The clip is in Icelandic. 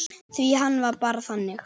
Því hann var bara þannig.